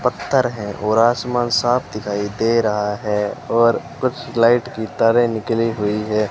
पत्थर है और आसमान साफ दिखाई दे रहा है और कुछ लाइट की तारें निकली हुईं है।